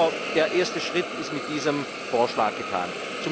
Aber der erste Schritt ist mit diesem Vorschlag getan.